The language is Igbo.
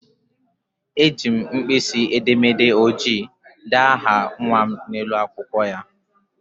Ejiri m mpkisi edemede ojii dee aha nnwa m n'elu akwụkwọ ya..